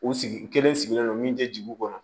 U sigi kelen sigilen don min te jigi u kɔnɔ